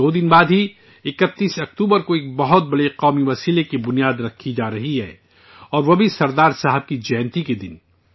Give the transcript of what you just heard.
دو دن بعد ہی، 31 اکتوبر کو ایک بہت بڑی ملک گیر تنظیم کی بنیاد رکھی جا رہی ہے اور وہ بھی سردار صاحب کی جینتی کے دن